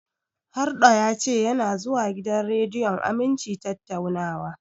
Harɗo ya ce yana zuwa gidan rediyon Aminci tattaunawa.